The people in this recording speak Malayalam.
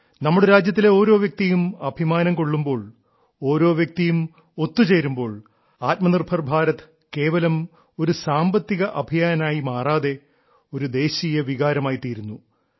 നമ്മുടെ രാജ്യത്തിലെ ഓരോ വ്യക്തിയും അഭിമാനം കൊള്ളുമ്പോൾ ഓരോ വ്യക്തിയും ഒത്തുചേരുമ്പോൾ ആത്മനിർഭർ ഭാരത് കേവലം ഒരു സാമ്പത്തിക അഭിയാൻ ആയി മാറാതെ ഒരു ദേശീയ വികാരം ആയിത്തിരുന്നു